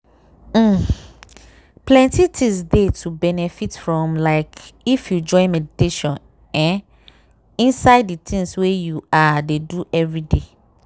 um plenty things dey to benefit from like if you join meditation um inside de tins wey you ah! dey do everyday.